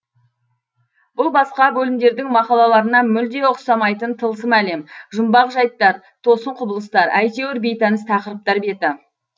бұл басқа бөлімдердің мақалаларына мүлде ұқсамайтын тылсым әлем жұмбақ жайттар тосын құбылыстар әйтеуір бейтаныс тақырыптар беті